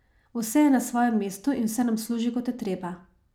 Vse je na svojem mestu in vse nam služi, kot je treba.